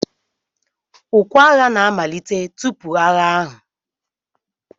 Ukwe agha na-amalite tupu agha ahụ.